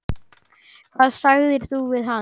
Hvað sagðir þú við hann?